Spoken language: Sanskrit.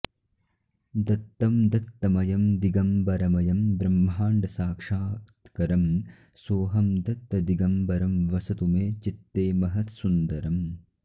दत्तं दत्तमयं दिगम्बरमयं ब्रह्माण्डसाक्षात्करं सोऽहं दत्तदिगम्बरं वसतु मे चित्ते महत्सुन्दरम्